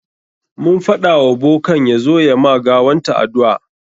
Mun faɗa wa bokan ya zo ya ma gawanta addu'a.